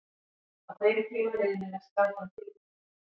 Að þeim tíma liðnum er skatan tilbúin.